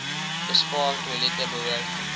bespaar toilette behoort